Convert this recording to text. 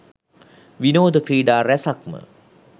විනෝද ක්‍රීඩා රැසක්ම